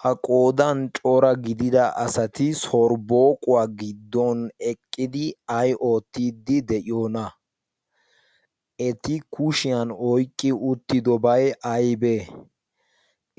ha qoodan cora gidida asati sorbbooquwaa giddon eqqidi ay oottiddi de'iyoona eti kushiyan oyqqi uttidobay aibee